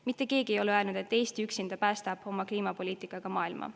Mitte keegi ei ole öelnud, et Eesti üksinda päästab oma kliimapoliitikaga maailma.